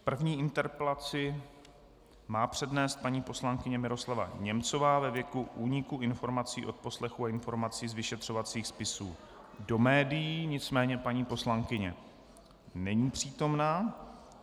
První interpelaci má přednést paní poslankyně Miroslava Němcová ve věci úniku informací z odposlechů a informací z vyšetřovacích spisů do médií, nicméně paní poslankyně není přítomna.